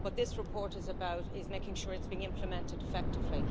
What this report is about is making sure it's being implemented effectively.